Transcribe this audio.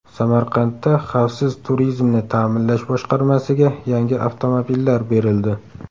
Samarqandda Xavfsiz turizmni ta’minlash boshqarmasiga yangi avtomobillar berildi .